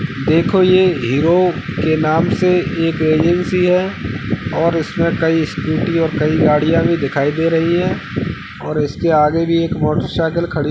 देखो ये हीरो के नाम से एक एजेंसी है और इसमें कइ स्कूटी और कइ गड़ियाँ भी दिखाई दे रही है और इसके आगे भी एक मोटर साइकिल खड़ी --